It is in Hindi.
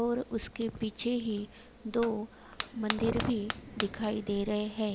और उसके पीछे ही दो मंदिर भी दिखाई दे रहे है।